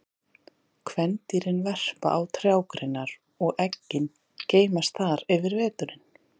Kvendýrin verpa á trjágreinar og eggin geymast þar yfir veturinn.